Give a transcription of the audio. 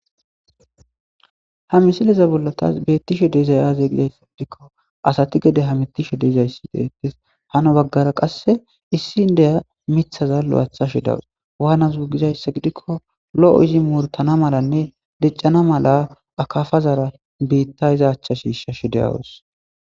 ha misileza bollatas beettishe deizayaze gidayssa gidikko asati gede hamittishe deizayssi deetes hano baggara qasse issin deya mithaza lo7atha shidawus waanazuu gizayssa gidikko lo7o izi murtana malanne diccana mala akafazara biitta izachcha shiisha shi deyawus